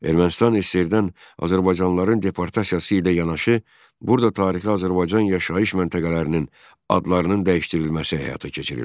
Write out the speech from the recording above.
Ermənistan SSRİ-dən azərbaycanlıların deportasiyası ilə yanaşı, burada tarixi Azərbaycan yaşayış məntəqələrinin adlarının dəyişdirilməsi həyata keçirildi.